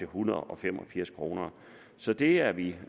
hundrede og fem og firs kroner så det er vi